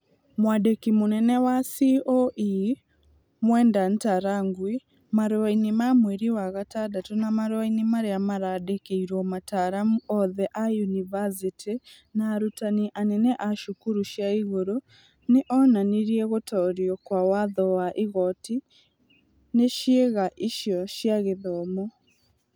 Mwandĩki mũnene wa CũE Mwenda Ntarangwi, marũainĩ ma mweri wa gatandatũ, na marũainĩ marĩa marandĩkĩirwo mataaramu othe a yunivacĩtĩ na arutani anene a cukuru cia igũrũ, nĩ onanirie gũtoorio kwa watho wa igooti nĩ ciĩga icio cia gĩthomo.